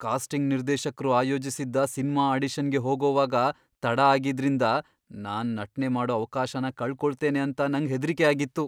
Casting ನಿರ್ದೇಶಕ್ರು ಆಯೋಜಿಸಿದ್ದ cinema ಆಡಿಷನ್ಗೆ ಹೋಗೋವಾಗ ತಡ ಆಗಿದ್ದ್ರಿಂದ ನಾನ್ ನಟ್ನೆ ಮಾಡೋ ಅವ್ಕಾಶನ ಕಳ್ ಕೊಳ್ತೇನೆ ಅಂತ ನಂಗ್ ಹೆದ್ರಿಕೆ ಆಗಿತ್ತು.